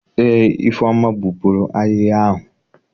Eé, Ifeoma gbupuru ahịhịa ahụ.